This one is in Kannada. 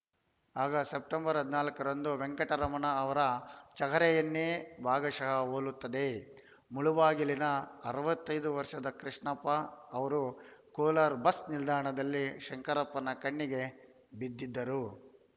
ಆಗ ಸೆಪ್ಟೆಂಬರ್ ಹದಿನಾಲ್ಕರಂದು ವೆಂಕಟರಮಣ ಅವರ ಚಹರೆಯನ್ನೇ ಭಾಗಶಃ ಹೋಲುತ್ತಿದ್ದ ಮುಳುಬಾಗಿಲಿನ ಅರವತ್ತೈದು ವರ್ಷದ ಕೃಷ್ಣಪ್ಪ ಅವರು ಕೋಲಾರ ಬಸ್‌ ನಿಲ್ದಾಣದಲ್ಲಿ ಶಂಕರಪ್ಪನ ಕಣ್ಣಿಗೆ ಬಿದ್ದಿದ್ದರು